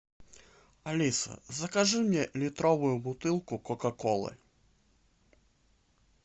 алиса закажи мне литровую бутылку кока колы